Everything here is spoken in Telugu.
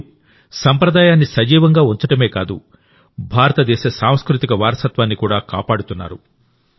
మీరు సంప్రదాయాన్ని సజీవంగా ఉంచడమే కాదు భారతదేశ సాంస్కృతిక వారసత్వాన్ని కూడా కాపాడుతున్నారు